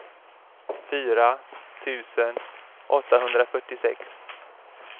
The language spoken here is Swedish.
fyra tusen åttahundrafyrtiosex